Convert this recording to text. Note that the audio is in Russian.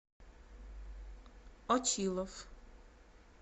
очилов